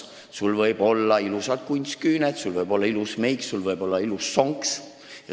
Sul võivad olla ilusad kunstküüned, sul võib olla ilus meik ja sul võib olla ilus sonks.